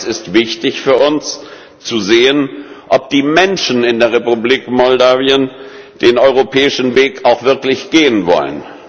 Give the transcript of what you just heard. Aber es ist wichtig für uns zu sehen, ob die Menschen in der Republik Moldau den europäischen Weg auch wirklich gehen wollen.